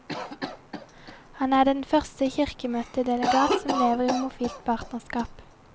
Han er den første kirkemøtedelegat som lever i homofilt partnerskap.